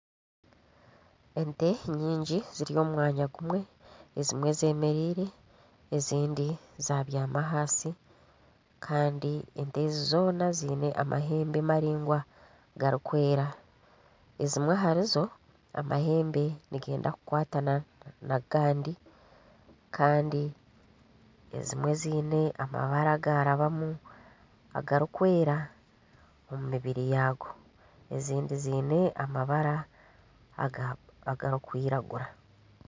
Ente nyingi ziri omu mwanya gumwe ezimwe zemereire ezindi zabyama ahansi kandi ente ezi zoona ziine amahembe maraingwa garikwera ezimwe aharizo amahembe nigenda kukwatana n'agandi kandi ezimwe ziine amabara agarabamu agarikwera omu mibiri yaago ezindi ziine amabara agarikwiragura.